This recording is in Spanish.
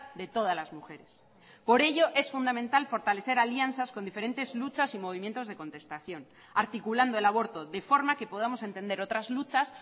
de todas las mujeres por ello es fundamental fortalecer alianzas con diferentes luchas y movimientos de contestación articulando el aborto de forma que podamos entender otras luchas